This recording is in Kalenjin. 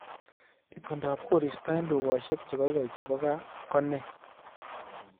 Itondop koristo eng dukaishek chegoigoi chebo gaa ko ne